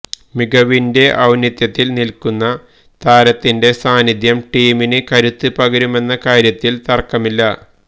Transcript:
മികവിന്റെ ഔന്നത്യത്തില് നില്ക്കുന്ന താരത്തിന്റെ സാന്നിധ്യം ടീമിന് കരുത്ത് പകരുമെന്ന കാര്യത്തില് തര്ക്കമില്ല